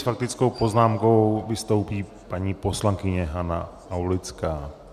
S faktickou poznámkou vystoupí paní poslankyně Hana Aulická.